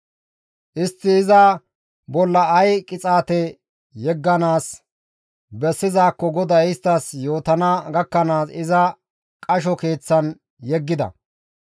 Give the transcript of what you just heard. Istti iza bolla ay qixaate yegganaas bessizaakko GODAY isttas yootana gakkanaas iza qasho keeththan yeggida.